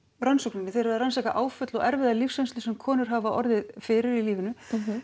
rannsókninni þið eruð að rannsaka áföll og erfiða lífsreynslu sem konur hafa orðið fyrir í lífinu